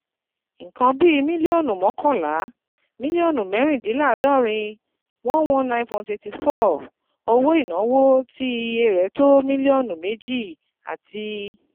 Nǹkan bí mílíọ̀nù mọ́kànlá, mílíọ̀nù mẹ́rìndínláàádọ́rin [119.84] owó ìnáwó tí iye rẹ̀ tó mílíọ̀nù méjì àti